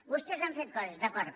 vostès han fet coses d’acord